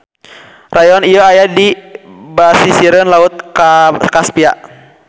Rayon ieu aya di basisireun Laut Kaspia.